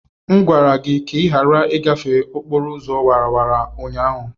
M gwara gị ka ị ghara ịgafe okporo ụzọ awara awara ụnyaahụ!